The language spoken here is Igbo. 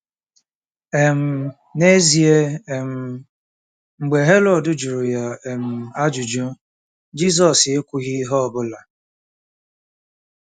um N'ezie, um mgbe Herọd jụrụ ya um ajụjụ, Jizọs ekwughị ihe ọ bụla.